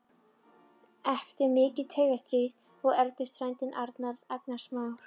Eftir mikið taugastríð og erfiði fæddist Arnar, agnarsmár.